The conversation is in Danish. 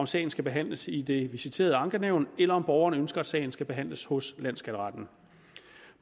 sagen skal behandles i det visiterede ankenævn eller om borgeren ønsker at sagen skal behandles hos landsskatteretten